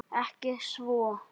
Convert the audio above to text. Ekki svo.